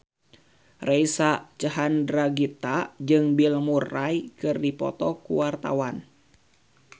Reysa Chandragitta jeung Bill Murray keur dipoto ku wartawan